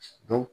Don